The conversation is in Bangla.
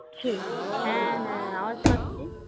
হ্যাঁ হ্যাঁ আওয়াজ পাচ্ছিস